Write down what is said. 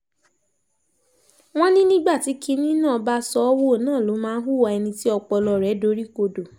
wọ́n ní nígbà tí kinní náà bá sọ ọ́ wò náà ló máa ń hùwà ẹni tí ọpọlọ rẹ̀ doríkodò